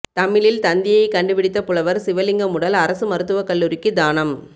தமிழில் தந்தியை கண்டுபிடித்த புலவர் சிவலிங்கம் உடல் அரசு மருத்துவ கல்லூரிக்கு தானம்